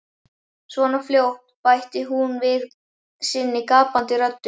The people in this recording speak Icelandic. . svona fljótt, bætti hún við sinni gapandi röddu.